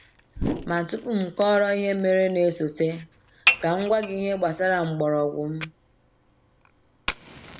.Ma tupu m kọọrọ ihe mere na-esote, ka m gwa gị ihe gbasara mgbọrọgwụ m.